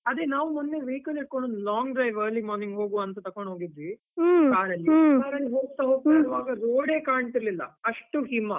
ಅದೇ ನಾವ್ ಒಮ್ಮೆ vehicle ಹಿಡ್ಕೊಂಡು long drive early morning ಹೋಗುವ ಅಂತ ತೊಕೊಂಡು ಹೋಗಿದ್ವಿ, car ಅಲ್ಲಿ car ಅಲ್ಲಿ ಹೋಗ್ತಾ ಹೋಗ್ತಾ ಇರುವಾಗ road ಡೇ ಕಾಣ್ತಿರ್ಲಿಲ್ಲ, ಅಷ್ಟು ಹಿಮ.